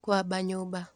Kũamba nyũmba.